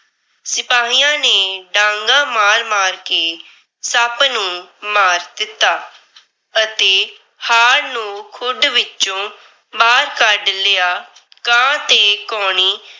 ਸਿਪਾਹੀਆਂ ਨੇ ਡਾਂਗਾਂ ਮਾਰ-ਮਾਰ ਕੇ ਸੱਪ ਨੂੰ ਮਾਰ ਦਿੱਤਾ। ਅਤੇ ਹਾਰ ਨੂੰ ਖੁੱਡ ਵਿਚੋਂ ਬਾਹਰ ਕੱਢ ਲਿਆ। ਕਾਂ ਤੇ ਕਾਉਣੀ